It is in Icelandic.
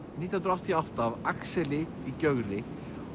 nítján hundruð áttatíu og átta af Axel í Gjögri